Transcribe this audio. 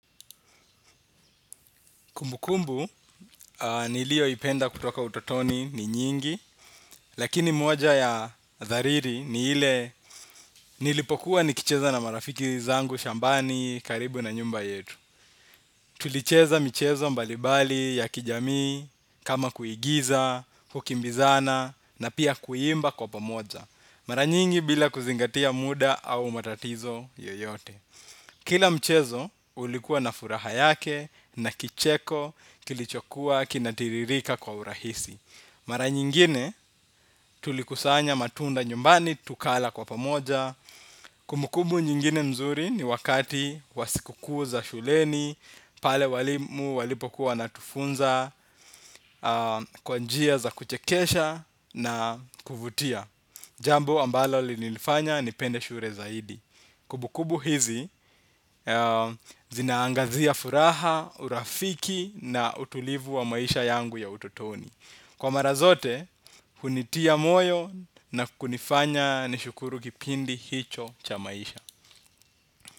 Kumbukumbu, nilioipenda kutoka utotoni ni nyingi, lakini moja ya dhariri ni ile nilipokuwa nikicheza na marafiki zangu shambani karibu na nyumba yetu. Tulicheza mchezo mbalibali ya kijamii, kama kuigiza, kukimbizana, na pia kuimba kwa pamoja. Mara nyingi bila kuzingatia muda au matatizo yoyote. Kila mchezo ulikuwa na furaha yake na kicheko kilichokuwa kinatiririka kwa urahisi. Mara nyingine tulikusanya matunda nyumbani tukala kwa pamoja. Kumbukumbu nyingine nzuri ni wakati wa sikukuu za shuleni. Pale walimu walipokuwa wanatufunza kwa njia za kuchekesha na kuvutia jambo ambalo linifanya nipende shule zaidi. Kumbukumbu hizi zinaangazia furaha, urafiki na utulivu wa maisha yangu ya utotoni. Kwa mara zote, hunitia moyo na kunifanya nishukuru kipindi hicho cha maisha.